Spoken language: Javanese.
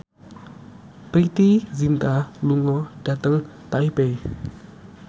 Preity Zinta lunga dhateng Taipei